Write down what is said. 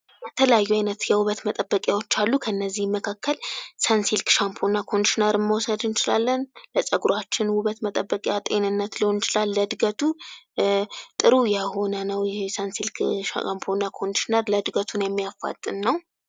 የተለያዩ አይነት የዉበት መጠበቂያዎች መካከል ሰንሲልክ ሻምቦና ኮንዲሽነር መዉሰድ እንችላለን። ለፀጉራችን ዉበት መጠበቂያ ጤንነት ሊሆን ይችላል ለእድገቱ ጥሩ የሆነ ነዉ ይሄ ሰንሲልክ ሻምፖና ኮንዲሽነር ነዉ።